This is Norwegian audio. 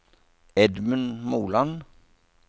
Edmund Moland